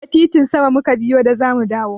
Ta titin sama mu ka biyo da za mu dawo.